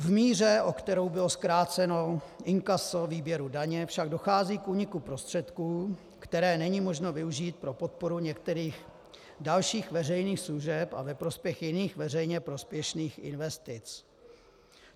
V míře, o kterou bylo zkráceno inkaso výběru daně, však dochází k úniku prostředků, které není možno využít pro podporu některých dalších veřejných služeb a ve prospěch jiných veřejně prospěšných investic.